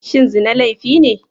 Shin zina laifi ne?